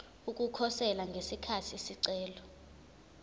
ukukhosela ngesikhathi isicelo